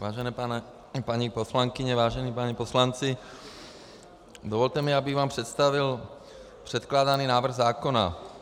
Vážené paní poslankyně, vážení páni poslanci, dovolte mi, abych vám představil předkládaný návrh zákona.